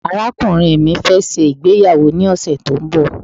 arakunrin mi fe se ìgbéyàwó ni ọsẹ ti o nbọ